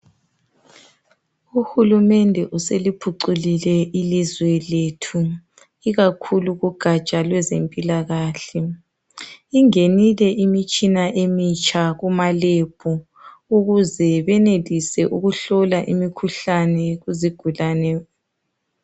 Uhulumende useliphuculile ilizwe lethu ikakhulu kugatsha lwezempilakahle. Ingenile imitshina emitsha kumalebhu ukuze benelise ukuhlola emikhuhlane kuzigulane.